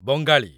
Bengali